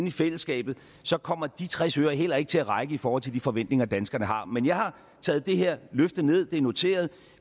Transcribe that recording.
i fællesskabet så kommer de tres øre heller ikke til at række i forhold til de forventninger danskerne har men jeg har taget det her løfte ned det er noteret